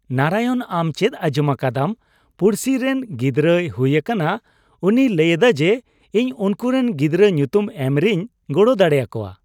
ᱱᱟᱨᱟᱭᱚᱱ, ᱟᱢ ᱪᱮᱫ ᱟᱸᱡᱚᱢ ᱟᱠᱟᱫᱟᱢ ᱯᱩᱲᱥᱤ ᱨᱮᱱ ᱜᱤᱫᱽᱨᱟᱹᱭ ᱦᱩᱭ ᱟᱠᱟᱱᱟ ? ᱩᱱᱤᱭ ᱞᱟᱹᱭᱞᱮᱫᱟ ᱡᱮ ᱤᱧ ᱩᱱᱠᱩᱨᱮᱱ ᱜᱤᱫᱽᱨᱟᱹ ᱧᱩᱛᱩᱢ ᱮᱢ ᱨᱮᱧ ᱜᱚᱲᱚ ᱫᱟᱲᱮ ᱟᱠᱚᱣᱟ ᱾